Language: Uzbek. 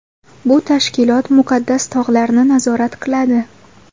Bu tashkilot Muqaddas tog‘larni nazorat qiladi.